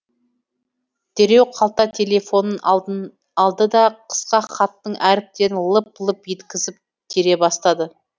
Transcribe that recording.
дереу қалта телефонын алды да қысқа хаттың әріптерін лып лып еткізіп тере бастады